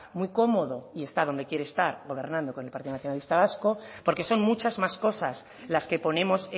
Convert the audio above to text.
muy cómodo y está donde quiere estar gobernando con el partido nacionalista vasco porque son muchas más cosas las que ponemos